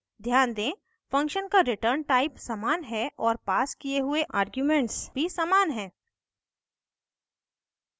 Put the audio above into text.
ध्यान दें function का return type समान है और passed किये हुए आर्ग्यूमेंट्स भी समान हैं